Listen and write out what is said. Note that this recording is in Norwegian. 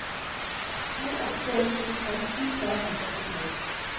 to åtte en sju femti tre hundre og åttito